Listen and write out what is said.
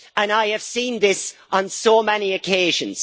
I have seen this on so many occasions.